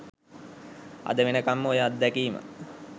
අද වෙනකම්ම ඔය අත්දැකීම